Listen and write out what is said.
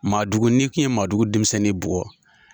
Maadugu n'i kun ye maadugu denmisɛnnin bugɔ.